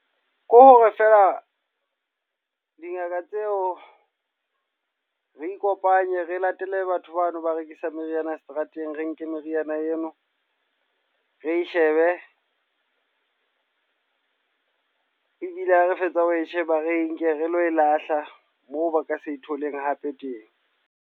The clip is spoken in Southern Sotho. Ke hore feela dingaka tseo re ikopanye re latele batho bano ba rekisa meriana seterateng, re nke meriana eno re shebe. Ebile ha re fetsa ho e sheba. Re nke re lo e lahla moo ba ka se tholeng hape teng.